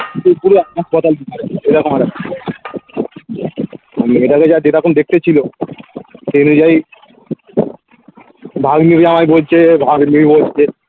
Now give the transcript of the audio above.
মেয়েটাকে যা যেরকম দেখতে ছিল সেই অনুযায়ী ভাগ্নীগুলো আমায় বলছে ভাগ্নি বলছে